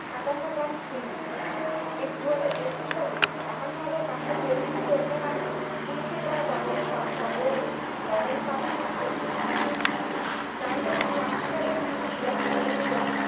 সাতান্ন পয়েন্ট শুন্য। এক দুই হাজার একুশ সালে একান্ন হাজার পাঁচশো চল্লিশটি হত্যাকান্ড পুলিশের দ্বারা তদন্তাতদতদন্তাধীন ছিল। যার মধ্যে ছাব্বিশ হাজার তিনশো বিরাশি টি অভিযোগ